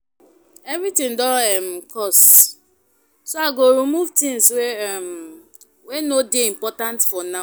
Everything don um cost, so I go remove things um wey no dey important for now.